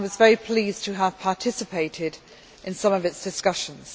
I was very pleased to have participated in some of its discussions.